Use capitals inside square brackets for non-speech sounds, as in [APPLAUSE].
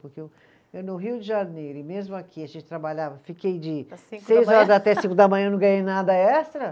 Porque eu, eu no Rio de Janeiro, e mesmo aqui a gente trabalhava, fiquei de [UNINTELLIGIBLE] seis horas até cinco da manhã e não ganhei nada extra.